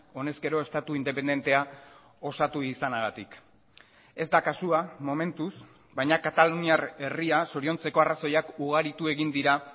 honez gero estatu independentea osatu izanagatik ez da kasua momentuz baina kataluniar herria zoriontzeko arrazoiak ugaritu egin dira